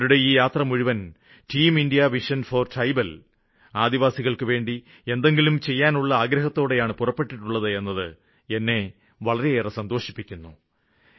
അവരുടെ ഈ യാത്ര മുഴുവന് team India vision for tribal ആദിവാസികള്ക്കുവേണ്ടി എന്തെങ്കിലും ചെയ്യാനുള്ള ആഗ്രഹത്തോടെയാണ് പുറപ്പെട്ടിട്ടുള്ളത് എന്നത് എന്നെ വളരെയേറെ സന്തോഷിപ്പിക്കുന്നു